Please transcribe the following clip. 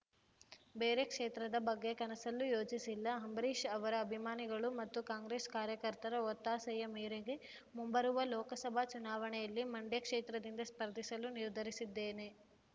ಬೇರೆ ಕ್ಷೇತ್ರದ ಬಗ್ಗೆ ಕನಸಲ್ಲೂ ಯೋಚಿಸಿಲ್ಲ ಅಂಬರೀಷ್‌ ಅವರ ಅಭಿಮಾನಿಗಳು ಮತ್ತು ಕಾಂಗ್ರೆಸ್‌ ಕಾರ್ಯಕರ್ತರ ಒತ್ತಾಸೆಯ ಮೇರೆಗೆ ಮುಂಬರುವ ಲೋಕಸಭಾ ಚುನಾವಣೆಯಲ್ಲಿ ಮಂಡ್ಯ ಕ್ಷೇತ್ರದಿಂದ ಸ್ಪರ್ಧಿಸಲು ನಿರ್ಧರಿಸಿದ್ದೇನೆ